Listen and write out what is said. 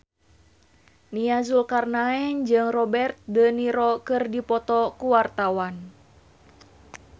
Nia Zulkarnaen jeung Robert de Niro keur dipoto ku wartawan